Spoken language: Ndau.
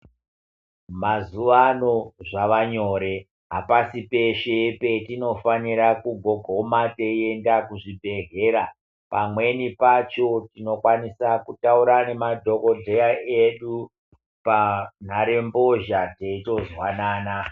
Mazuwa ano zvavanyore apasi peshe patinofanire kugogoma teienda kuzvibhehleya pamweni pacho tinokwanise kutaura nemadhokodheya edu panhare mbozha teitozwanana.